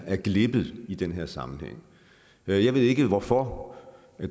er glippet i den her sammenhæng jeg ved ikke hvorfor